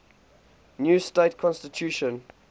new state constitution